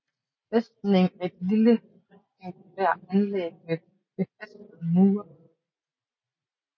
Fæstningen er et lille rektangulær anlæg med befæstede mure